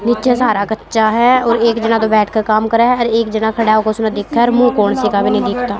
नीचे सारा कच्चा है और एक जना दो बैठ के काम करे है और एक जना खड़ा होके उसने देखे है और मुंह कौन सी का भी नहीं दिखता--